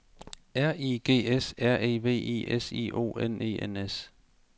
R I G S R E V I S I O N E N S